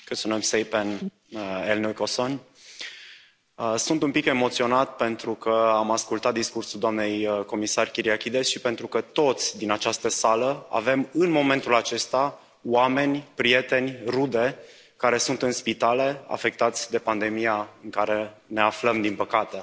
Doamnă președintă, sunt un pic emoționat pentru că am ascultat discursul doamnei comisar Kyriakides și pentru că toți din această sală avem în momentul acesta oameni, prieteni, rude care sunt în spitale, afectați de pandemia în care ne aflăm, din păcate.